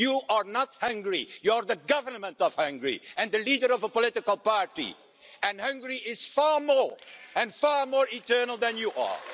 You are not Hungary, you're the government of Hungary and the leader of a political party and Hungary is far more and far more eternal than you are.